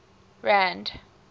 rand